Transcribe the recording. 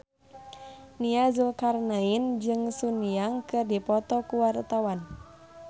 Nia Zulkarnaen jeung Sun Yang keur dipoto ku wartawan